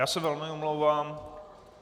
Já se velmi omlouvám.